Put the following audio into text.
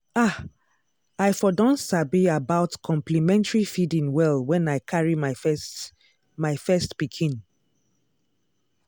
ah! i for don sabi about complementary feeding well when i carry my first my first pikin.